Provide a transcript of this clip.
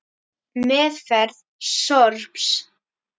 Meðferð sorps